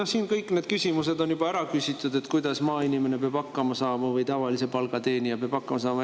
No siin kõik need küsimused on juba ära küsitud, et kuidas maainimene peab hakkama saama või kuidas tavalise palga teenija peab hakkama saama.